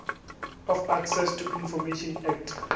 of access to information act